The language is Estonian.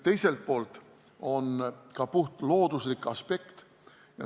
Teiselt poolt on ka puhtlooduslik aspekt.